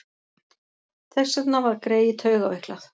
Þess vegna var greyið taugaveiklað.